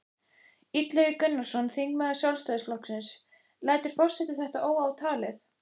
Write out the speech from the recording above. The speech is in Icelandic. Illugi Gunnarsson, þingmaður Sjálfstæðisflokksins: Lætur forseti þetta óátalið?